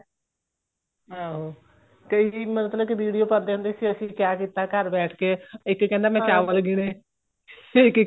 ਆਹੋ ਕਈ ਮਤਲਬ ਕੀ video ਪਾਉਂਦੇ ਹੁੰਦੇ ਸੀ ਅਸੀਂ ਕਿਹਾ ਕੀਤਾ ਘਰ ਬੈਠ ਕੇ ਇੱਕ ਕਹਿੰਦਾ ਮੈਂ ਚਾਵਲ ਗਿੰਨੇ ਇੱਕ ਇੱਕ